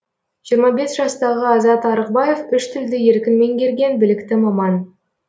жиырма бес жастағы азат арықбаев үш тілді еркін меңгерген білікті маман